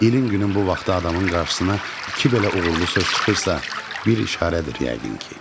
İlin günün bu vaxtı adamın qarşısına iki belə uğurlu söz çıxırsa, bir işarədir yəqin ki.